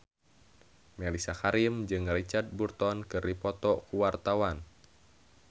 Mellisa Karim jeung Richard Burton keur dipoto ku wartawan